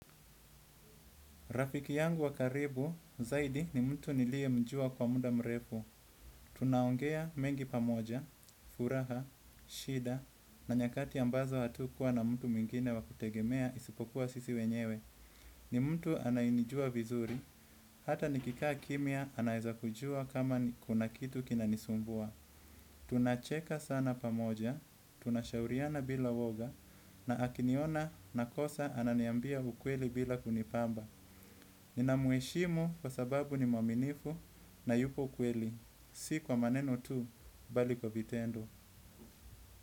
Rafiki yangu wa karibu zaidi ni mtu niliyemjua kwa muda mrefu. Tunaongea mengi pamoja, furaha, shida, na nyakati ambazo hatukuwa na mtu mwingine wa kutegemea isipokuwa sisi wenyewe. Ni mtu anayenijua vizuri hata nikikaa kimya anaweza jua kuna kitu kinanisumbua. Tunacheka sana pamoja, tunashauriana bila uoga, na akiniona nakosa ananiambia ukweli bila kunipamba. Nina mheshimu kwa sababu ni mwaminifu na yupo kweli. Si kwa maneno tu bali kwa vitendo.